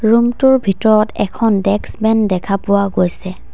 Room টোৰ ভিতৰত এখন ডেস্ক বেন দেখা পোৱা গৈছে।